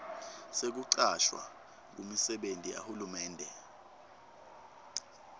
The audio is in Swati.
sekucashwa kumisebenti yahulumende